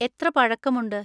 എത്ര പഴക്കമുണ്ട്?